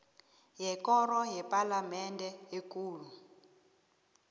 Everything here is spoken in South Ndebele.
yekoro yepalamende ekulu